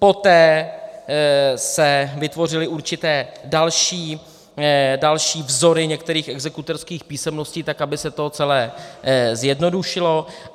Poté se vytvořily určité další vzory některých exekutorských písemností, tak aby se to celé zjednodušilo.